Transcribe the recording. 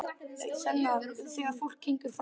Svenna þegar fólk gengur framhjá honum.